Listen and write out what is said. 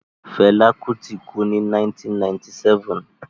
Fela Kuti kú ní 1997.